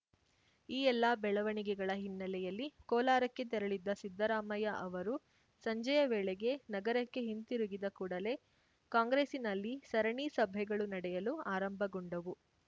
ಈ ಎಲ್ಲಾ ಬೆಳವಣಿಗೆಗಳ ಹಿನ್ನೆಲೆಯಲ್ಲಿ ಕೋಲಾರಕ್ಕೆ ತೆರಳಿದ್ದ ಸಿದ್ದರಾಮಯ್ಯ ಅವರು ಸಂಜೆಯ ವೇಳೆಗೆ ನಗರಕ್ಕೆ ಹಿಂತಿರುಗಿದ ಕೂಡಲೇ ಕಾಂಗ್ರೆಸ್ಸಿನಲ್ಲಿ ಸರಣಿ ಸಭೆಗಳು ನಡೆಯಲು ಆರಂಭಗೊಂಡವು